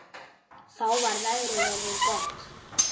Þá var veðrið orðið gott.